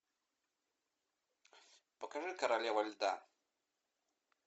покажи королева льда